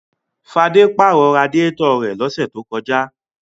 Fadé pàrọ̀ radiátọ̀ rẹ̀ lọ́sẹ̀ tó kọjá.